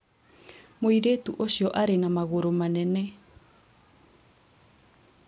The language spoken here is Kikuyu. mũirĩtu ũcio arĩ na magũrũ manene